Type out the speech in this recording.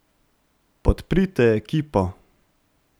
Podprite ekipo.